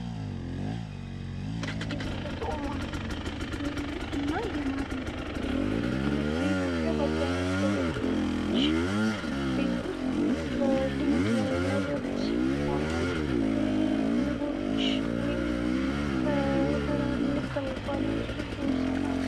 የተፈጥሮ ማር እና የማር እንጀራ ፤ በኢትዮጵያ በብዙ ገበሬዎች በልምድ የሚመረት ሲሆን ከበራሪ ማር የሚሰራ ነው።